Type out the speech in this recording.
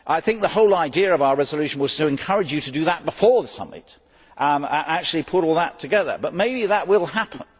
I think the whole idea of our resolution was to encourage you to do that before the summit and to actually put all that together, but maybe that will happen.